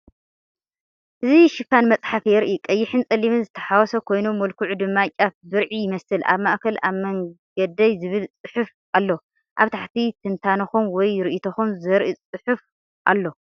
እዚ ሽፋን መጽሓፍ የርኢ። ቀይሕን ጸሊምን ዝተሓዋወሰ ኮይኑ፡ መልክዑ ድማ ጫፍ ብርዒ ይመስል። ኣብ ማእከል "ኣብ መንገደይ" ዝብል ጽሑፍ ኣሎ። ኣብ ታሕቲ ትንታነኹም ወይ ርእይቶኹም ዘርኢ ጽሑፍ ኣሎ።